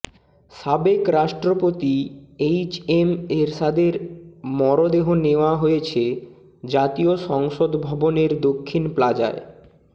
সাবেক রাষ্ট্রপতি H M এরশাদের মরদেহ নেওয়া হয়েছে জাতীয় সংসদ ভবনের দক্ষিণ প্লাজায়